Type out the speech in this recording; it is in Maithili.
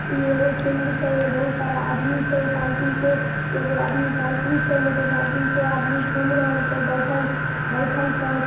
इ एगो फिल्ड छै ए में बहुत सारा आदमी छै साइकिल से एगो आदमी साइकिल छै मोटरसाइकिल छै आदमी घूम रहल छै बइठल बइठएल छै।